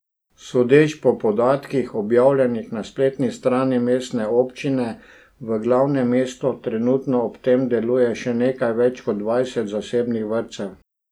Sodeč po podatkih, objavljenih na spletni strani mestne občine, v glavnem mestu trenutno ob tem deluje še nekaj več kot dvajset zasebnih vrtcev.